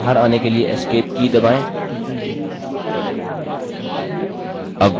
प्रस्तुति से बाहर आने के लिए escape की दबाएँ